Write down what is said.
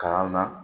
Kalan na